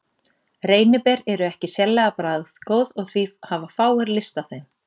Reyniber eru ekki sérlega bragðgóð og því hafa fáir lyst á þeim.